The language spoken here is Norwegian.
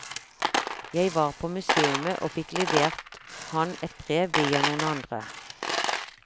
Jeg var på museumet og fikk levert han et brev via noen andre.